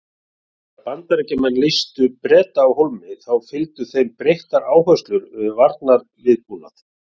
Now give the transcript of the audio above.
Þegar Bandaríkjamenn leystu Breta af hólmi þá fylgdu þeim breyttar áherslur við varnarviðbúnað.